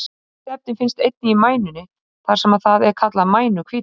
Hvað eru líffærin mikill hluti af þyngd manns?